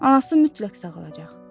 Anası mütləq sağalacaq.